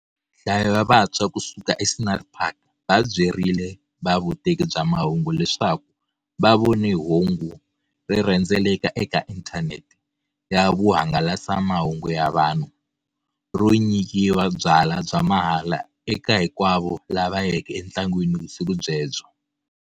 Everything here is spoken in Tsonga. Nhlayo ya vantshwa kusuka eScenery Park va byerile va vuteki bya mahungu leswaku va vone hungu ri rhendzeleka eka inthanete ya vuhangalasamahungu ya vanhu, ro nyikiwa byala bya mahala eka hinkwavo lava yeke etlangwini vusiku byebyo.